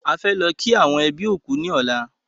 A fẹ́ lọ kí àwọn ẹbí òkú ní ọ̀la